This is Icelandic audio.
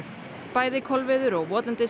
bæði Kolviður og